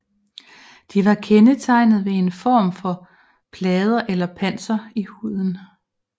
De var kendetegnet ved en form for plader eller panser i huden